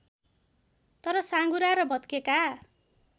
तर साँघुरा र भत्केका